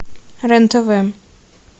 рен тв